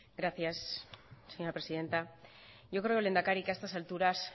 gracias señora presidenta yo creo lehendakari que a estas alturas